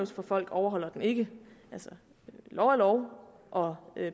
for folk overholder den ikke altså lov er lov og